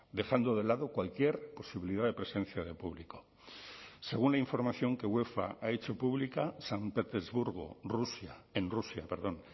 dejando de lado cualquier posibilidad de presencia de público según la información que uefa ha hecho pública san petersburgo rusia en rusia perdón